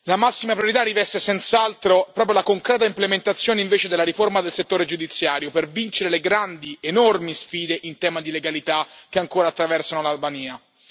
La massima priorità riveste senz'altro proprio la concreta implementazione invece della riforma del settore giudiziario per vincere le grandi, enormi sfide in tema di legalità che ancora attraversano l'Albania.